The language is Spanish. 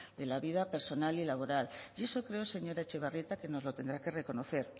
de la vida personal y laboral y eso creo señora etxebarrieta que nos lo tendrá que reconocer